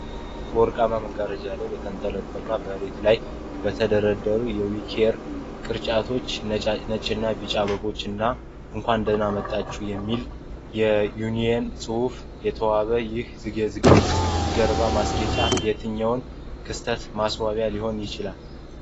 በወርቃማ መጋረጃ ላይ በተንጠለጠሉና መሬት ላይ በተደረደሩ የዊኬር ቅርጫቶች፣ ነጭና ቢጫ አበቦች እና “እንኳን ደህና መጣችሁ” በሚል የኒዮን ፅሁፍ የተዋበው ይህ የዝግጅት ጀርባ ማስጌጫ፣ የትኛው ክስተት ማስዋቢያ ሊሆን ይችላል?